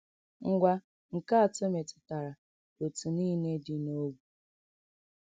Ngwa nke atọ metụtara ọ̀tù niile dị n’ógbè.